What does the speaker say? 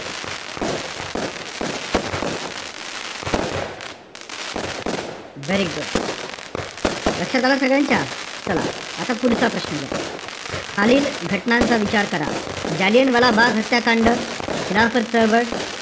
हा. very good लक्षात आलं सगळ्यांच्या? चला, आता पुढचा प्रश्न घ्या. खालील घटनांचा विचार करा. जालियनवाला बाग हत्याकांड, खिलाफत चळवळ,